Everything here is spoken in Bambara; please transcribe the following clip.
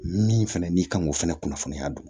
Min fɛnɛ n'i kan k'o fɛnɛ kunnafoniya dun